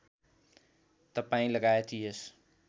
तपाईँ लगायत यस